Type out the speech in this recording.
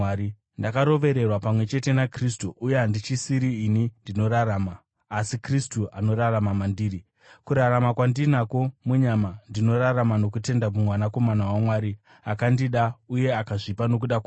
Ndakarovererwa pamwe chete naKristu uye handichisiri ini ndinorarama, asi Kristu anorarama mandiri. Kurarama kwandinako munyama, ndinorarama nokutenda muMwanakomana waMwari, akandida uye akazvipa nokuda kwangu.